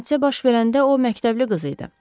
Hadisə baş verəndə o məktəbli qız idi.